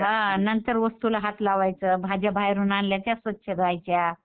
हां नंतर वस्तूला हात लावायचं, भाज्या बाहेरून आणल्या तर स्वच्छ धुवायच्या.